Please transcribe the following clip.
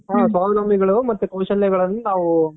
ಸ್ವಾವಲಂಬಿಗಳು ಮತ್ತೆ ಕೌಶಲ್ಯಗಳನ್ನ